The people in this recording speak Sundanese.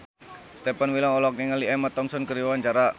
Stefan William olohok ningali Emma Thompson keur diwawancara